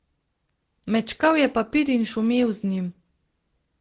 Mečkal je papir in šumel z njim.